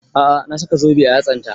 A'a na saka zobe a yatsan ta